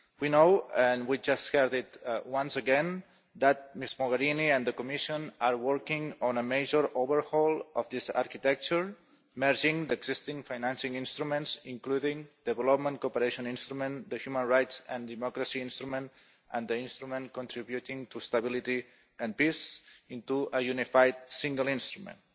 We know and we have just heard once again that Ms Mogherini and the Commission are working on a major overhaul of this architecture, merging the existing financing instruments, including the Development Cooperation Instrument, the Human Rights and Democracy Instrument and the Instrument Contributing to Stability and Peace into a unified single instrument.